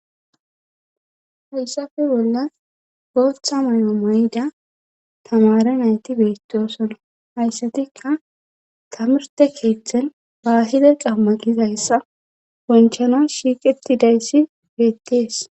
hayssafe bolla gooththa may7o mayda tamare nayti beettosonna hayssatikka tamarte keeththen baahida qamma gizayssa bonchana shiiqetidayssi beettees